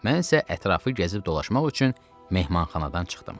Mən isə ətrafı gəzib dolaşmaq üçün mehmanxanadan çıxdım.